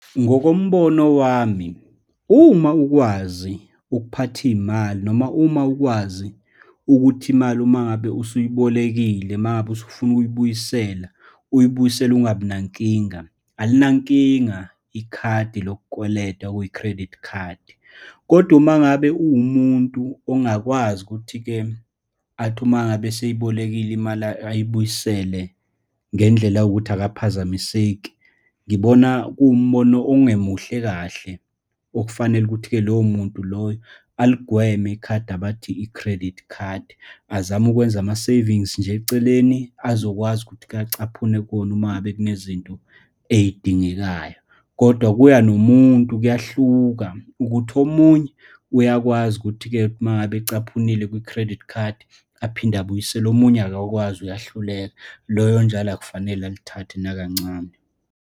Ngokombono wami, uma ukwazi ukuphatha iy'mali, noma uma ukwazi ukuthi imali uma ngabe usuyibolekile, uma ngabe usufuna ukuyibuyisela, uyibuyisele ungabinankinga, alinankinga ikhadi lokukweleta okuyi-credit card. Kodwa uma ngabe uwumuntu ongakwazi ukuthi-ke, athi uma ngabe eseyibolekile imali, ayibuyisele ngendlela yokuthi akaphazamiseki. Ngibona kuwumbono ongemuhle kahle, okufanele ukuthi-ke lowo muntu loyo aligweme ikhadi abathi i-credit card, azame ukwenza ama-savings nje eceleni azokwazi ukuthi-ke acaphune kuwona uma ngabe kunezinto ey'dingekayo. Kodwa kuya nomuntu, kuyahluka ukuthi omunye uyakwazi ukuthi-ke, uma ngabe ecaphunile kwi-credit card, aphinde abuyisele, omunye akakwazi uyahluleka, loyo njalo akufanele alithathe nakancane.